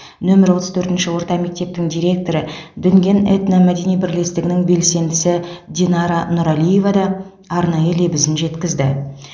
нөмір отыз төртінші орта мектептің директоры дүнген этномәдени бірлестігінің белсендісі динара нұралиева да арнайы лебізін жеткізді